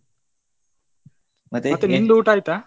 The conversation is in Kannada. ನಿಂದ್ ಊಟ ಆಯ್ತಾ?